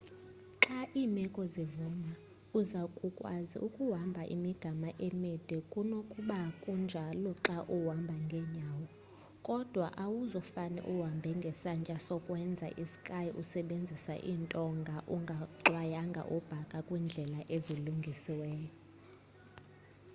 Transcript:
xa iimeko zivuma uza kukwazi ukuhamba imigama emide kunokba kunjalo xa uhamba ngenyawo kodwa awuzufane uhambe ngesantya sokwenza i-ski usebenzisa iintonga ungaxwayanga ubhaka kwiindlela ezilungisiweyo